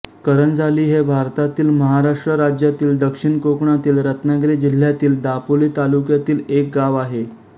करंजाली हे भारतातील महाराष्ट्र राज्यातील दक्षिण कोकणातील रत्नागिरी जिल्ह्यातील दापोली तालुक्यातील एक गाव आहे